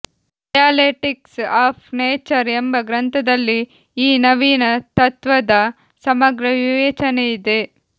dialectics of nature ಎಂಬ ಗ್ರಂಥದಲ್ಲಿ ಈ ನವೀನ ತತ್ತ್ವದ ಸಮಗ್ರ ವಿವೇಚನೆಯಿದೆ